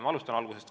Ma alustan algusest.